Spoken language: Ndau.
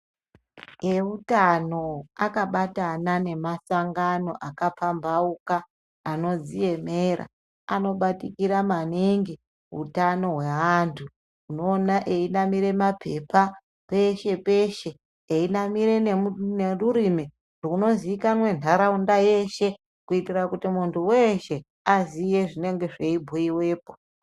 Eutano akabatana nemasangano akapamhauka anodziemera anobatikira maningi utano hweantu. Nnoona einamira maphepha peshe-peshe, einamire nerurimi runozikanwa ntaraunda yeshe, kuitira kuti muntu weshe aziye zvinenge zveibhuyiwepo.